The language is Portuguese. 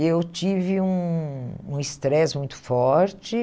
Eu tive um um estresse muito forte.